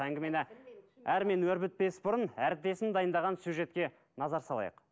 әңгімені әрмен өрбітпес бұрын әріптесім дайындаған сюжетке назар салайық